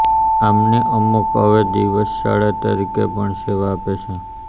આમંની અમુક હવે દિવસ શાળા તરીકે પણ સેવા આપે છે